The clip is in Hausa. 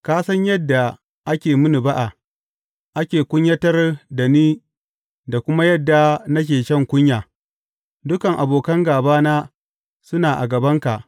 Ka san yadda ake mini ba’a, ake kunyatar da ni da kuma yadda nake shan kunya; dukan abokan gābana suna a gabanka.